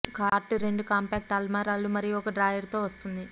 cart రెండు compact అల్మారాలు మరియు ఒక డ్రాయర్ తో వస్తుంది